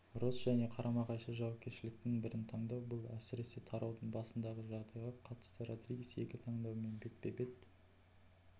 росс және қарама-қайшы жауапкершіліктің бірін таңдау бұл әсіресе тараудың басындағы жағдайға қатысты родригес екі таңдаумен бетпе-бет